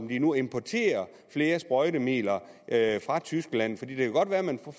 vi nu importerer flere sprøjtemidler fra tyskland